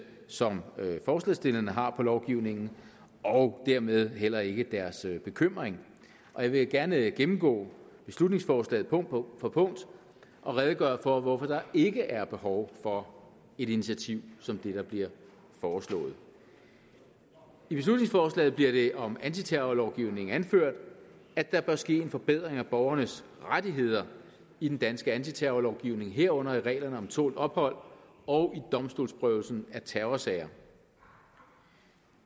som forslagsstillerne har af lovgivningen og dermed heller ikke deres bekymring jeg vil gerne gennemgå beslutningsforslaget punkt for punkt og redegøre for hvorfor der ikke er behov for et initiativ som det der bliver foreslået i beslutningsforslaget bliver det om antiterrorlovgivningen anført at der bør ske en forbedring af borgernes rettigheder i den danske antiterrorlovgivning herunder i reglerne om tålt ophold og i domstolsprøvelsen af terrorsager